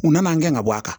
U nana an gɛn ka bɔ a kan